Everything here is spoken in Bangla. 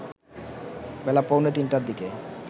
বেলা পৌনে ৩টার দিকে